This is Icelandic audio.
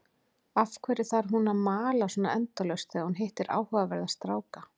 Af hverju þarf hún að mala svona endalaust þegar hún hittir áhugaverða stráka?